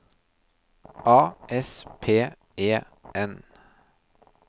A S P E N